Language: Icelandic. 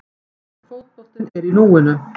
En fótboltinn er í núinu.